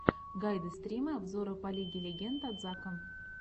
гайды стримы обзоры по лиге легенд от зака